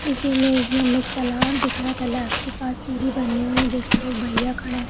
इस इमेज में हमें एक तालाब दिख रहा है तालाब के पास सीडी बनी हुई है जिस पे एक भैया खड़े हैं।